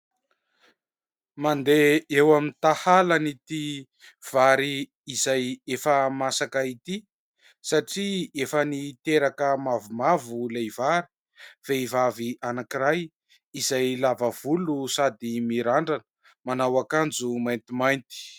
Mandeha eo amin'ny tahalan'ity vary izay efa masaka ity satria efa niteraka mavomavo ilay vary. Vehivavy anankiray izay lava volo sady mirandrana manao ankanjo maintimainty.